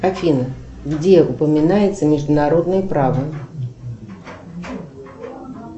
афина где упоминается международное право